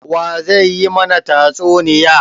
Wa zai yi mana tatsuniya?